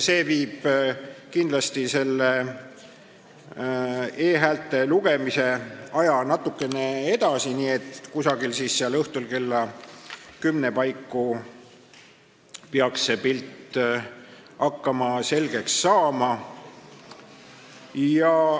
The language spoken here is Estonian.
See nihutab kindlasti e-häälte lugemise aja natukene edasi, nii et õhtul kella kümne paiku peaks see pilt hakkama selgeks saama.